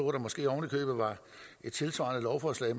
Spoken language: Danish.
der måske ovenikøbet var et tilsvarende lovforslag